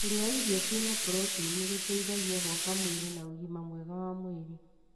Kũria irio ciina proteini nĩguteithagia gũaka mwĩrĩ na ũgima mwega wa mwĩrĩ.